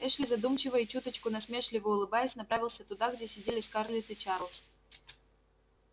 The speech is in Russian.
эшли задумчиво и чуточку насмешливо улыбаясь направился туда где сидели скарлетт и чарлз